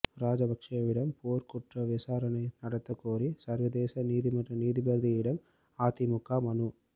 ராஜபக்சேவிடம் போர்க்குற்ற விசாரணை நடத்தக் கோரி சர்வதேச நீதிமன்ற நீதிபதியிடம் அதிமுக மனு